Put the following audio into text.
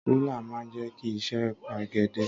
Rúlà máa ń jẹ́ kí iṣẹ́ pegedé.